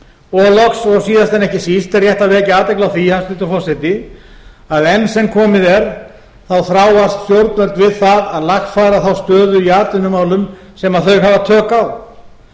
og loks og síðast en ekki síst er rétt að vekja athygli á því hæstvirtur forseti að enn sem komið er þá þráast stjórnvöld við það að lagfæra þá stöðu í atvinnumálum sem þau hafa tök á